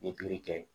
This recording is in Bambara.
N ye pikiri kɛ